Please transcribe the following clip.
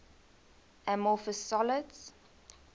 amorphous solids